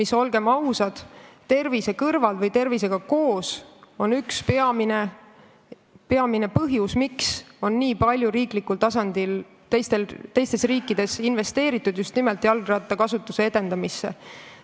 See on, olgem ausad, tervise kõrval üks peamine põhjus, miks on teistes riikides nii palju riiklikul tasandil investeeritud just nimelt jalgrattakasutuse edendamisse.